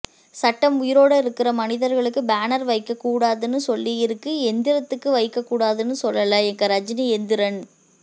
சட்டம் உயிரோட இருக்கிற மனிதர்களுக்கு பேனர் வைகக கூடாதுன்னு சொல்லியிருக்கு எந்திரத்துக்கு வைக்ககூடாதுன்னு சொல்லல எங்க ரஜினி எந்திரன்